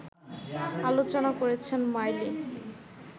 আলোচনা করেছেন মাইলি